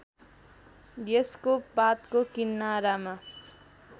यसको पातको किनारामा